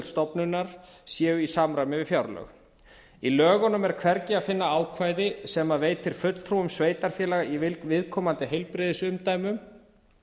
stofnunar séu í samræmi við fjárlög í lögunum er hvergi að finna ákvæði sem veitir fulltrúum sveitarfélaga í viðkomandi heilbrigðisumdæmum